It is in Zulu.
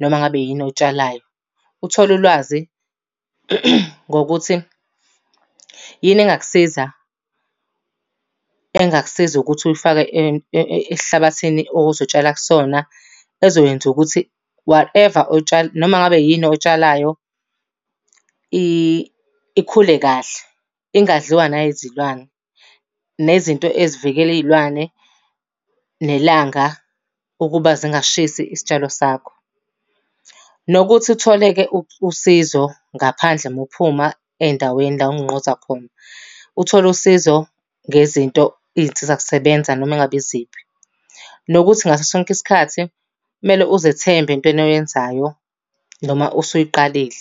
noma ngabe yini oyitshalwayo. Uthole ulwazi ngokuthi yini engakusiza engakusiza ukuthi uyifake esihlabathini ozotshala kusona, ezokwenza ukuthi whatever noma ngabe yini oyitshalayo, ikhule kahle, ingadliwa nayizilwane. Nezinto ezivikela iy'lwane, nelanga ukuba zingashisi isitshalo sakho. Nokuthi uthole-ke usizo ngaphandle uma uphuma ey'ndaweni la ongqongqoza khona. Uthole usizo ngezinto, iy'nsizakusebenza noma engabe iziphi. Nokuthi ngaso sonke isikhathi kumele uzethembe entweni oyenzayo noma osuyiqalile.